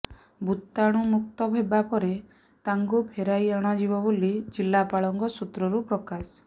ଭୂତାଣୁମୁକ୍ତ ହେବା ପରେ ତାଙ୍କୁ ଫେରାଇ ଅଣାଯିବ ବୋଲି ଜିଲ୍ଲାପାଳଙ୍କ ସୂତ୍ରରୁ ପ୍ରକାଶ